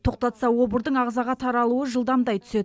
тоқтатса обырдың ағзаға таралуы жылдамдай түседі